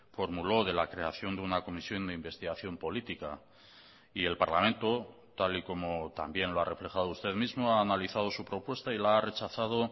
formuló de la creación de una comisión de investigación política y el parlamento tal y como también lo ha reflejado usted mismo ha analizado su propuesta y la ha rechazado